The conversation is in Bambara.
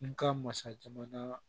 N ka masa jamana